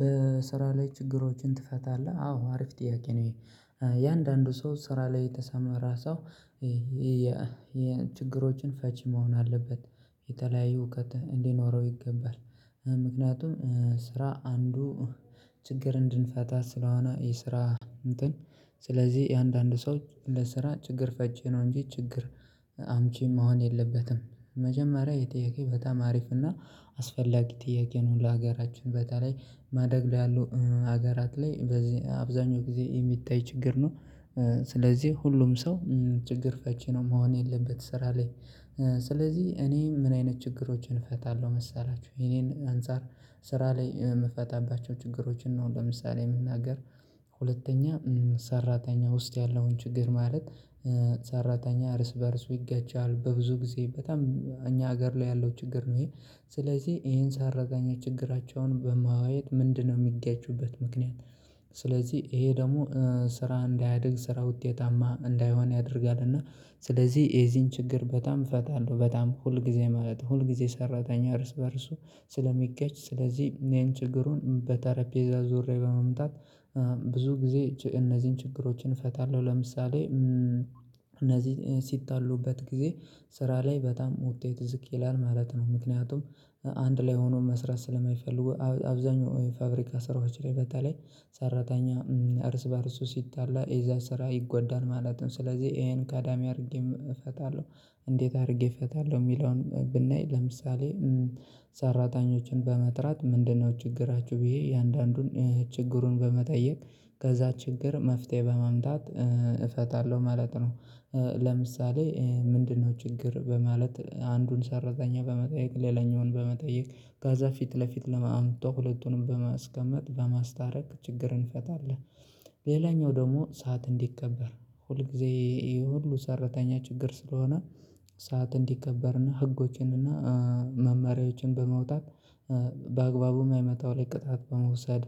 በስራ ላይ ችግሮችን ትፈታለህ? አዎ አሪፍ ጥያቄ ነው። የአንዳንዱ ሰው ስራ ላይ የተሰማራ ራሳው። ይሄ የችግሮችን ፈቺ መሆን አለበት። የተለያዩ እውቀት እንዲኖረው ይገባል። ምክንያቱም ስራ አንዱ ችግር እንድንፈታ ስለሆነ የስራ እንትን ስለዚህ የአንዳንድ ሰው ለስራ ችግር ፈቺ ነው እንጂ ችግር አምቺም መሆን የለበትም። መጀመሪያ ይህ ጥያቄ በጣም አሪፍ እና አስፈላጊ ጥያቄ ነው ለሀገራችን በተለይ ማደግ ለይ ያለው ሀገራት ላይ በዚህ አብዛኛው ጊዜ የሚታይ ችግር ነው። ስለዚህ ሁሉም ሰው ችግር ፈቺ ነው መሆን የለበትም ስራ ላይ። ስለዚህ እኔም ምን አይነት ችግሮችን እፈታለሁ መሰላችሁ? የኔን አንፃር ስራ ላይ የምፈታባቸው ችግሮችን ነው ለምሳሌ የምናገር። ሁለተኛ ሰራተኛ ውስጥ ያለውን ችግር ማለት። ሰራተኛ እርስ በእርሱ ይጋጃል በብዙ ጊዜ በጣም እኛ ሀገር ላይ ያለው ችግር ነው ይሄ። ስለዚህ ይሄን ሳረግ ችግራቸውን በማዋየየት ምንድነው የሚገጩበት ምክንያት? ስለዚህ ይሄ ደግሞ ስራ እንዳያድግ ስራ ውጤታማ እንዳይሆን ያደርጋል። እና ስለዚህ የዚህን ችግር በጣም እፈታለሁ በጣም ሁል ጊዜ ማለት ሁል ጊዜ ሰራተኛ እርስ በእርሱ። ስለሚገጭ ስለዚህ መይን ችግሩን በተረጴዛ ዞዙሪያ በመምጣት። ብዙ ጊዜ እነዚህን ችግሮችን እፈታለሁ ለምሳሌ እነዚህ ሲጣሉበት ጊዜ ስራ ላይ በጣም ውጤት ዝቅ ይላል ማለት ነው። ምክንያቱም አንድ ላይ ሆኖ መስራት ስለማይፈልጉ አብዛኛው ፋብሪካ ስራዎች ላይ በተለይ ሰራተኛ እርስ በእርሱ ሲጣላ የዛ ስራ ይጎዳል ማለት ነው ስለዚህ ይሄን ቀዳሚ አድርጌ እፈታለሁ። እንዴት አድርጌ እፈታለሁ? የሚለውን ብናይ ለምሳሌ። ሰራተኞችን በመጥራት ምንድነው ችግራችሁ ብዬ የእያንዳንዱን ችግሩን በመጠየቅ ከዛ ችግር መፍትሄ በማምጣት እፈታለሁ። ማለት ነው። ለምሳሌ ምንድነው ችግር በማለት አንዱን ሰራተኛ በመጠየቅ ሌላኛውን በመጠየቅ ከዛ ፊት ለፊት በመምጣት ሁለቱንም በማስቀመጥ በማስታረቅ ችግርን ፈታለህ። ሌላኛው ደግሞ ሰዓት እንዲከበር ሁልጊዜ ይሄ ሁሉ ሰራተኛ ችግር ስለሆነ ሰዓት እንዲከበርና ህጎችንና መመሪያዎችን በመውጣት በአግባቡ የማይመጠው ላይ ቅጣት በመውሰድ።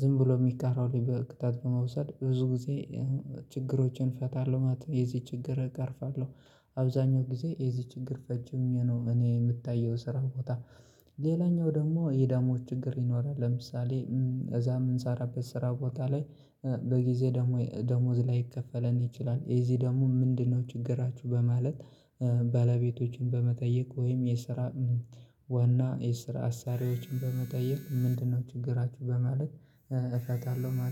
ዝም ብሎ የሚቀረው ቅጣት በመውሰድ ብዙ ጊዜ ችግሮችን እፈታለሁ ማለት ነው። የዚህ ችግር እቃርፋለሁ። አብዛኛው ጊዜ የዚህ ችግር ፈቺ ሆኜ ነው እኔ የምታየው ስራ ቦታ። ሌላኛው ደግሞ የዳሞች ችግር ይኖራል ለምሳሌ እዛ የምንሰራበት ስራ ቦታ ላይ። በጊዜ ደሞዝ ላይከፈለን ይችላል እዚህ ደግሞ ምንድነው ችግራችሁ በማለት? በለቤቶችን በመጠየቅ ወይም የስራ ዋና የስራ አሳሪዎችን በመጠየቅ ምንድነው ችግራችሁ በማለት? እፈታለሁ